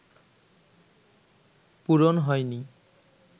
পূরণ হয়নি